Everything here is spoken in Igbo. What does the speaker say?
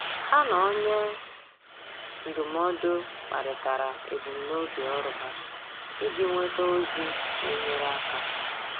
Há na onye ndụmọdụ kparịtara ebumnobi ọ́rụ́ ha iji nwéta ózị́ nà-ènyéré áká.